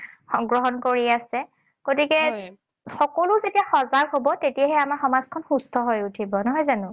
গ্ৰহণ কৰি আছে। গতিকে সকলো যেতিয়া সজাগ হব, তেতিয়াহে আমাৰ সমাজখন সুস্থ হৈ উঠিব, নহয় জানো?